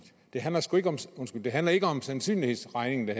det her handler ikke om sandsynlighedsregning det